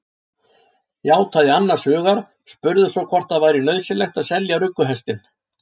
Játaði annars hugar, spurði svo hvort það væri nauðsynlegt að selja rugguhestinn.